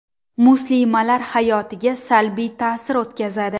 Muslimalar haoyotiga salbiy ta’sir o‘tkazadi.